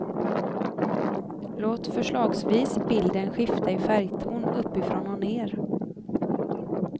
Låt förslagsvis bilden skifta i färgton uppifrån och ner.